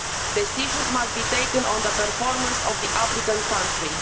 Decisions must be taken on the performance of the applicant country.